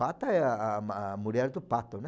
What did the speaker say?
Pata é a a a mulher do pato, né?